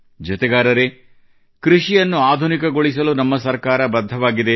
ಜತೆಗಾರರೇ ಕೃಷಿಯನ್ನು ಆಧುನಿಕಗೊಳಿಸಲು ನಮ್ಮ ಸರ್ಕಾರ ಬದ್ಧವಾಗಿದೆ